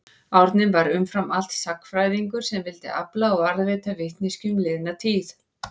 Árni var umfram allt sagnfræðingur sem vildi afla og varðveita vitneskju um liðna tíð.